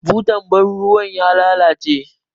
Butar ban ruwa ya lalace jiya.